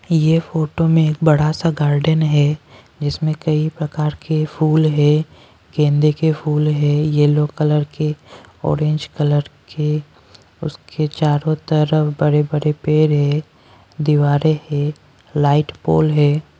ये फोटो में एक बड़ा सा गार्डन है जिसमें कई प्रकार के फूल हैं गेंदे के फूल हैं येलो कलर के ऑरेंज कलर के उसके चारों तरफ बरे बरे पेर हैं दीवारें हैं लाइट पोल है।